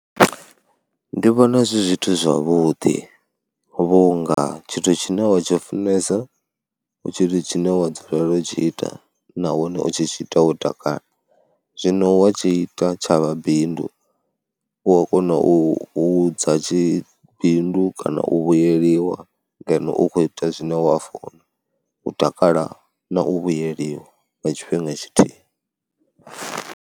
Ndi vhona zwi zwithu zwavhuḓi vhunga tshithu tshine wa tshi funesa hu tshithu tshine wa dzula u tshi ita nahone u tshi tshi ita wo takala. Zwino wa tshi ita tsha vha bindu u a kona u u hudza tshi bindu kana u vhuyeliwa ngeno u khou ita zwine wa funa, u takala na u vhuyeliwa nga tshifhinga tshithihi.